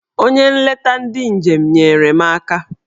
Onye nleta ndị njem! nyere m aka